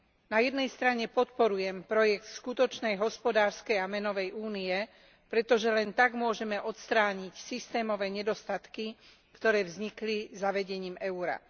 Na jednej strane podporujem projekt skutočnej hospodárskej a menovej Únie, pretože len tak môžeme odstrániť systémové nedostatky, ktoré vznikli zavedením eura.